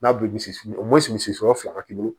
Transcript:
N'a bi misi o misi sɔrɔ fila k'i bolo